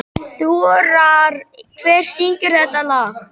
Þórar, hver syngur þetta lag?